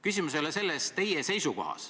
Küsimus ei ole teie seisukohas.